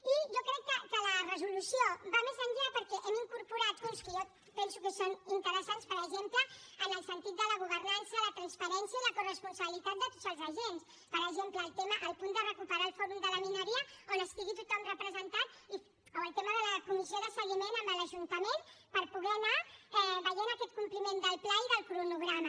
i jo crec que la resolució va més enllà perquè hi hem incorporat punts que jo penso que són interessants per exemple en el sentit de la governança la transparència i la corresponsabilitat de tots els agents per exemple el punt de recuperar el fòrum de la mineria on estigui tothom representat o el tema de la comissió de seguiment amb l’ajuntament per poder anar veient aquest compliment del pla i del cronograma